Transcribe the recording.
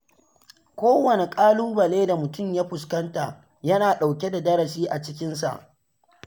Kowane ƙalubale da mutum ya fuskanta yana ɗauke da darasi a cikinsa.